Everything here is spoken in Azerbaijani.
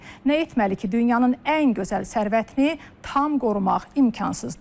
Nə etməli ki, dünyanın ən gözəl sərvətini tam qorumaq mümkünsüzdür.